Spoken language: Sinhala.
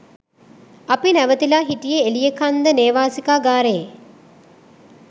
අපි නැවතිලා හිටියෙ එලියකන්ද නේවාසිකාගාරයෙ.